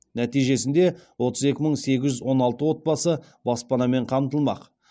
нәтижесінде отыз екі мың сегіз жүз он алты отбасы баспанамен қамтылмақ